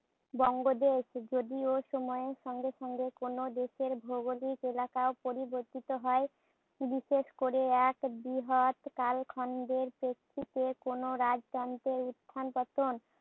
বঙ্গদেশ। যদিও সময়ের সঙ্গে সঙ্গে কোন দেশের ভৌগোলিক এলাকা পরিবর্তিত হয়। বিশেষ করে এক বৃহৎ কালখণ্ডের প্রেক্ষিতে কোন রাজধানীতে উত্থান-পতন